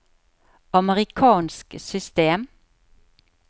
amerikansk system